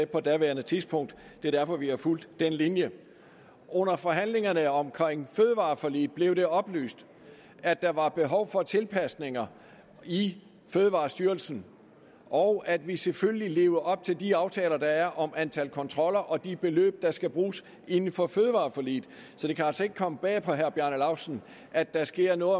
på daværende tidspunkt det er derfor vi har fulgt den linje under forhandlingerne om fødevareforliget blev det oplyst at der var behov for tilpasninger i fødevarestyrelsen og at vi selvfølgelig lever op til de aftaler der er om antallet af kontroller og de beløb der skal bruges inden for fødevareforliget så det kan altså ikke komme bag på herre bjarne laustsen at der sker noget